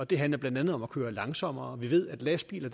det handler blandt andet om at køre langsommere vi ved at lastbiler